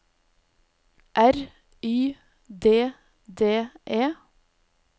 R Y D D E